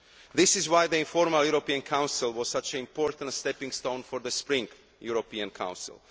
That is why the informal European Council was such an important stepping stone for the Spring European Council.